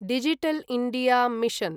digital India mission